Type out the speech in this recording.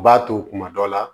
U b'a to kuma dɔ la